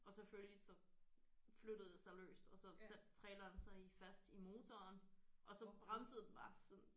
Og selvfølgelig så flyttede det sig løst og så satte traileren sig i fast i motoren og så bremsede den bare sådan